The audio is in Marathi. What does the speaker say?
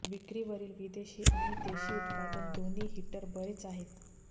विक्रीवरील विदेशी आणि देशी उत्पादन दोन्ही हीटर बरेच आहेत